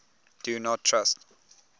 do not trust